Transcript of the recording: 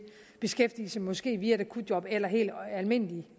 beskæftigelse måske via akutjob eller helt almindelig